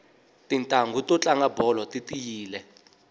titanghu to tlanga bolo ti tiyile